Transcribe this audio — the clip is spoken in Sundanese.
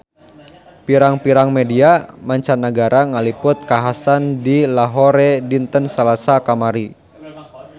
Pirang-pirang media mancanagara ngaliput kakhasan di Lahore dinten Salasa kamari